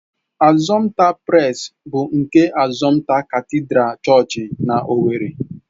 Assumpta Press bụ nke Assumpta katịdral Chọọchị na owerri.